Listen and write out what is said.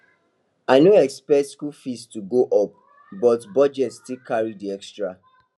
i no expect school fee to go up but budget still carry the extra